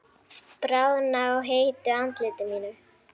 Bráðna á heitu andliti mínu.